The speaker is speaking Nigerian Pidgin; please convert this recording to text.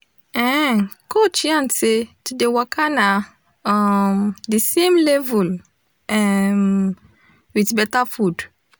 ehen coach yarn say to dey waka na um de same level um wit betta food